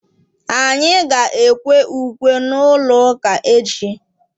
anyị ga-ekwe ukwe n'ụlọ ụka echi.